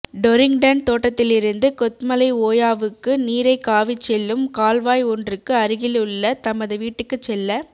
Torrington தோட்டத்திலிருந்து கொத்மலை ஓயாவுக்கு நீரைக் காவிச் செல்லும் கால்வாய் ஒன்றுக்கு அருகிலுள்ள தமது வீட்டுக்குச் செல்ல